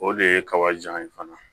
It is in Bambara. O de ye kaba jan ye fana